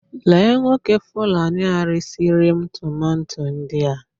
Lee Nwoke Fulani a resi ri'm tomato ndia